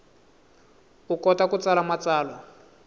u kota ku tsala matsalwa